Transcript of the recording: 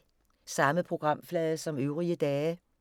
Samme programflade som øvrige dage